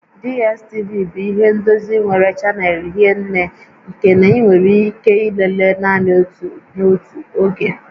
DSTV bụ ihe ndozi nwere chanel hie nné nke na ị nwere ike ilele naanị otu n'otu oge